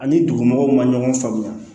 Ani dugumɔgɔw ma ɲɔgɔn faamuya